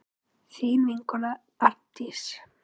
Þín vinkona Arndís.